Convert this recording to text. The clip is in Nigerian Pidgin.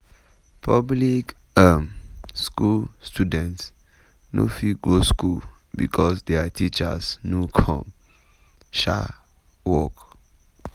public um school students no fit go school becos dia teachers no come um work.